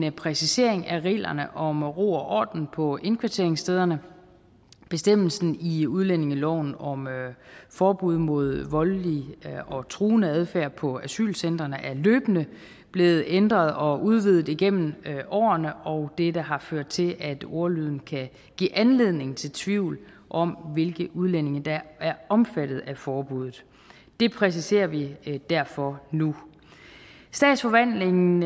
en præcisering af reglerne om ro og orden på indkvarteringsstederne bestemmelsen i udlændingeloven om forbud mod voldelig og truende adfærd på asylcentrene er løbende blevet ændret og udvidet gennem årene og dette har ført til at ordlyden kan give anledning til tvivl om hvilke udlændinge der er omfattet af forbuddet det præciserer vi derfor nu statsforvaltningen